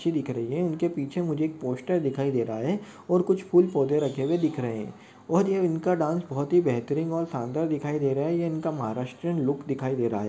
अच्छी दिख रही है। इनके पीछे मुझे एक पोस्टर दिखाई दे रहा है और कुछ फूल पौधे रखे हुए दिख रहे है और ये इनका डांस बहुत ही बेहतरीन और शानदार दिखाई दे रहा है ये इनका महाराष्ट्रियन लूक दिखाई दे रहा --